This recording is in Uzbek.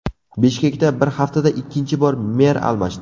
Bishkekda bir haftada ikkinchi bor mer almashdi.